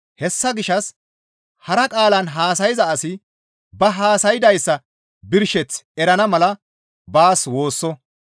Hessa gishshas hara qaalan haasayza asi ba haasaydayssa birsheth erana mala baas woosso.